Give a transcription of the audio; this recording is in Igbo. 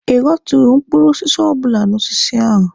Ị ghọturu mkpụrụ osisi ọbụla n'osisi ahụ?